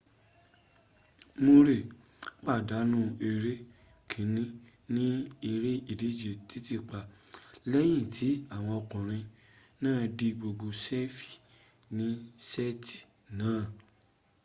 mure pàdánù eré kiní ní eré ìdíje titiipa lẹ́yìn tí àwọn okùnrin náà di gbogbo sefi ní sẹ́ti náà